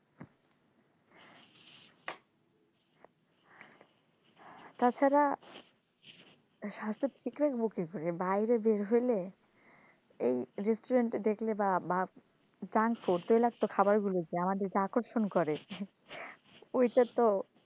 তাছাড়া স্বাস্থ্য ঠিক রাখবো কি করে, বাইরে বের হইলে এই restaurant এ দেখলে বা junk food তৈলাক্ত খাবারগুলোতে আমাদের যে আকর্ষণ করে ওইটা তো